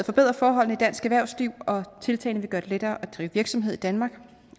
forbedre forholdene i dansk erhvervsliv og tiltagene vil gøre det lettere at drive virksomhed i danmark